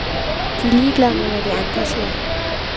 De er ligeglade med, hvad de andre siger.